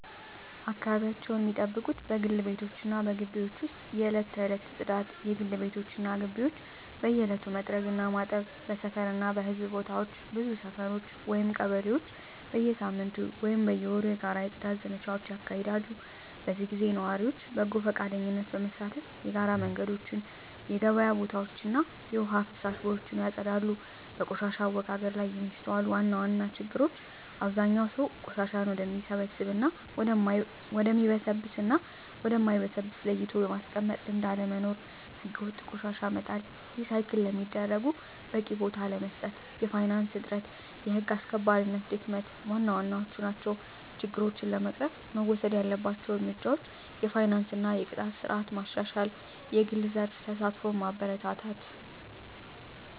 አካባቢያቸውን ሚጠብቁት በግል ቤቶች እና በግቢዎች ውስጥ የዕለት ተዕለት ጽዳት: የግል ቤቶች እና ግቢዎች በየዕለቱ መጥረግ እና ማጠብ። በሰፈር እና በሕዝብ ቦታዎች ብዙ ሰፈሮች (ቀበሌዎች) በየሳምንቱ ወይም በየወሩ የጋራ የጽዳት ዘመቻዎች ያካሂዳሉ። በዚህ ጊዜ ነዋሪዎች በጎ ፈቃደኝነት በመሳተፍ የጋራ መንገዶችን፣ የገበያ ቦታዎችን እና የውሃ ፍሳሽ ቦዮችን ያጸዳሉ። በቆሻሻ አወጋገድ ላይ የሚስተዋሉ ዋና ዋና ችግሮች አብዛኛው ሰው ቆሻሻን ወደሚበሰብስ እና ወደ ማይበሰብስ ለይቶ የማስቀመጥ ልምድ አለመኖር። ሕገወጥ ቆሻሻ መጣል፣ ሪሳይክል ለሚደረጉት በቂ ቦታ አለመስጠት፣ የፋይናንስ እጥረት፣ የህግ አስከባሪነት ድክመት ዋና ዋናዎቹ ናቸው። ችግሮችን ለመቅረፍ መወሰድ ያለባቸው እርምጃዎች የፋይናንስ እና የቅጣት ስርዓት ማሻሻል፣ የግል ዘርፍ ተሳትፎን ማበረታታት፣ …